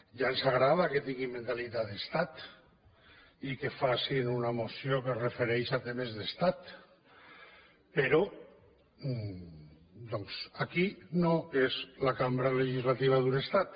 ja ens agrada que tinguin mentalitat d’estat i que facin una moció que es refereix a temes d’estat però doncs aquesta no és la cambra legislativa d’un estat